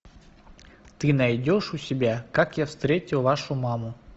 ты найдешь у себя как я встретил вашу маму